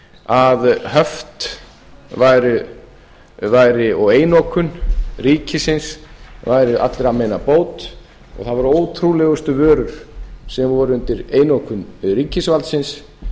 að höft og einokun ríkisins væru allra meina bót og það voru ótrúlegustu vörur sem voru undir einokun ríkisvaldsins